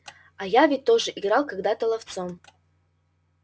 а я ведь тоже играл когда-то ловцом